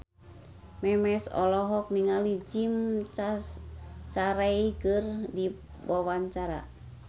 Memes olohok ningali Jim Carey keur diwawancara